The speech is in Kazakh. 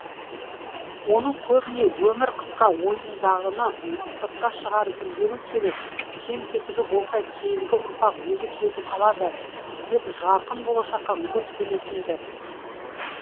оны көбіне өмір қысқа ойыңдағыны сыртқа шығарып үлгеру керек кем кетігі болса кейінгі ұрпақ өзі түзетіп алады деп жарқын болашаққа көп сенетін ді